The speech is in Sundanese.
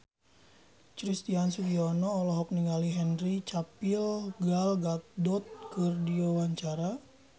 Christian Sugiono olohok ningali Henry Cavill Gal Gadot keur diwawancara